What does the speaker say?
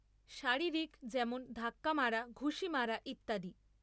শারীরিক, যেমন ধাক্কা মারা, ঘুষি মারা ইত্যাদি।